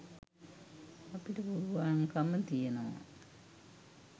අපිට පුළුවන්කම තියෙනවා.